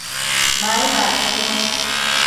Maī make nī maya